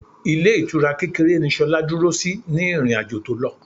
Ilé ìtura kékeré ni Ṣolá dúró sí ní ìrìn-àjò tó lọ.